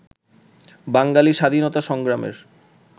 বাঙালি স্বাধীনতা সংগ্রামের